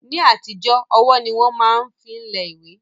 Ní àtijọ́ ọwọ́ ni wọ́n máa ń fi lẹ ìwé